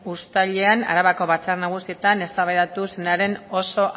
uztailean arabako batzar nagusietan eztabaidatu zenaren oso